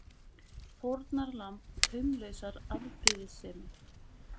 Fórnarlamb taumlausrar afbrýðisemi!